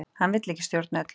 Hann vill ekki stjórna öllu